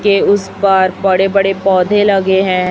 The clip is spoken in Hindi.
के उस पर बड़े बड़े पौधे लगे हैं।